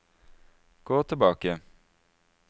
gå tilbake